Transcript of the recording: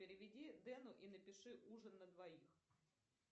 переведи дену и напиши ужин на двоих